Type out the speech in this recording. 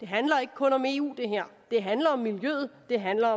handler ikke kun om eu det handler om miljøet det handler